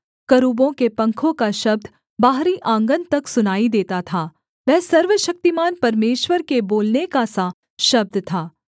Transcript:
करूबों के पंखों का शब्द बाहरी आँगन तक सुनाई देता था वह सर्वशक्तिमान परमेश्वर के बोलने का सा शब्द था